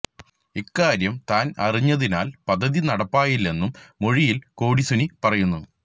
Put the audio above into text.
ഇക്കാര്യം താന് അറിഞ്ഞതിനാല് പദ്ധതി നടപ്പായില്ലെന്നും മൊഴിയില് കൊടി സുനി പറയുന്നു